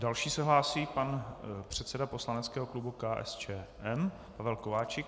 Další se hlásí pan předseda poslaneckého klubu KSČM Pavel Kováčik.